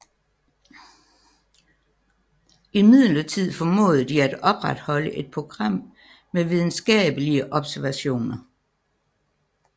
Imidlertid formåede de at opretholde et program med videnskabelige observationer